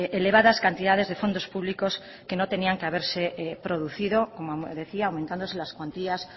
elevadas cantidades de fondos públicos que no tenían que haberse producido como decía aumentándose las cuantías